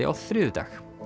á þriðjudag